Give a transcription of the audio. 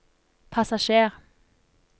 passasjer